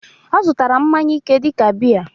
Ọ zụtara mmanya ike dịka biya